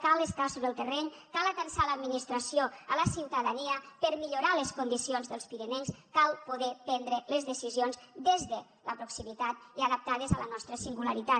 cal estar sobre el terreny cal atansar l’administració a la ciutadania per millorar les condicions dels pirinencs cal poder prendre les decisions des de la proximitat i adaptades a la nostra singularitat